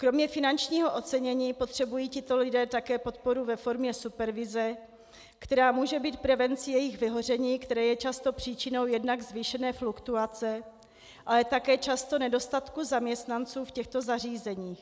Kromě finančního ocenění potřebují tito lidé také podporu ve formě supervize, která může být prevencí jejich vyhoření, které je často příčinou jednak zvýšené fluktuace, ale také často nedostatku zaměstnanců v těchto zařízeních.